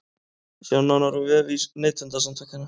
Sjá nánar á vef Neytendasamtakanna